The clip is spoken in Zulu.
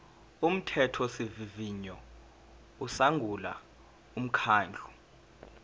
umthethosivivinyo usungula umkhandlu